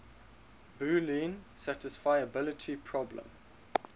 boolean satisfiability problem